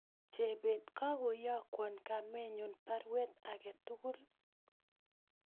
Chebet kakoyokwon kamenyun baruet agetugul